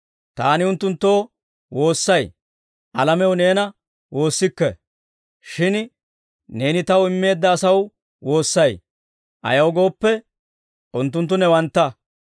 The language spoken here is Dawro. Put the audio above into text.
«Taani unttunttoo woossay; alamew neena woossikke. Shin Neeni Taw immeedda asaw woossay; ayaw gooppe, unttunttu newantta.